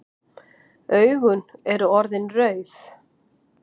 Augun eru orðin rauð.